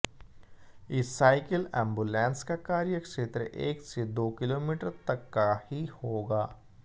इस cycle ambulance का कार्यक्षेत्र एक से दो किलोमीटर तक का ही होगा